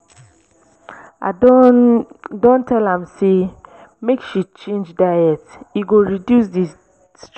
i don don tell am sey make she change diet e go reduce di stress.